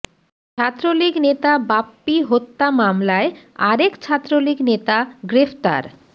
ছাত্রলীগ নেতা বাপ্পি হত্যা মামলায় আরেক ছাত্রলীগ নেতা গ্রেফতার